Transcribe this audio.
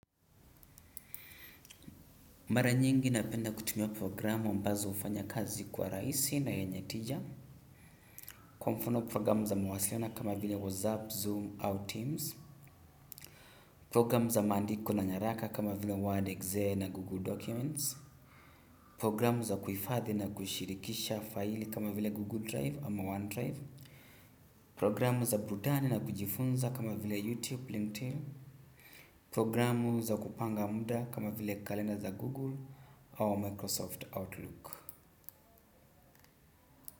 Mara nyingi napenda kutumia programu ambazo hufanya kazi kua rahisi na yenye tija. Kwa mfano programu za mawasiliano kama vile WhatsApp, Zoom au Teams. Programu za maandiko na nyaraka kama vile Word.exe na Google Documents. Pogramu za kuhifadhi na kuishirikisha faili kama vile google drive ama one drive. Programu za burudani na kujifunza kama vile YouTube LinkedIn. Programu za kupanga muda kama vile kalenda za Google au Microsoft Outlook.